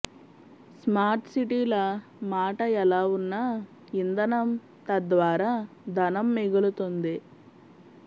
smart సిటీల మాట ఎలా వున్నా యింధనం తద్వారా ధనం మిగులుతుంది